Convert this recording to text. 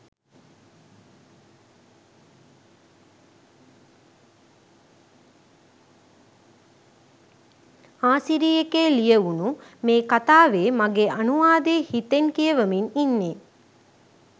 ආසිරි එකේ ලියවුනු මේ කතාවේ මගේ අනුවාදය හිතෙන් කියවමින් ඉන්නේ.